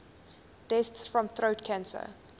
deaths from throat cancer